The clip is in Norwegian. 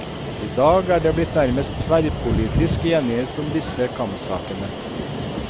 I dag er det blitt nærmest tverrpolitisk enighet om disse kampsakene.